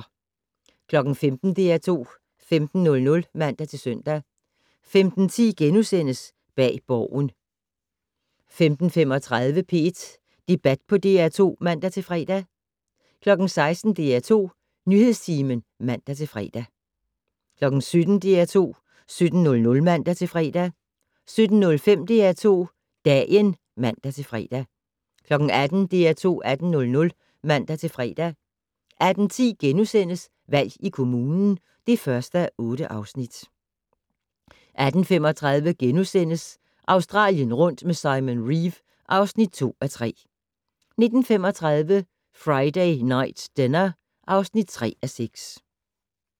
15:00: DR2 15:00 (man-søn) 15:10: Bag Borgen * 15:35: P1 Debat på DR2 (man-fre) 16:00: DR2 Nyhedstimen (man-fre) 17:00: DR2 17:00 (man-fre) 17:05: DR2 Dagen (man-fre) 18:00: DR2 18:00 (man-fre) 18:10: Valg i kommunen (1:8)* 18:35: Australien rundt med Simon Reeve (2:3)* 19:35: Friday Night Dinner (3:6)